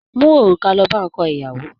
Mú òrùka lọ bá ọkọ ìyàwó!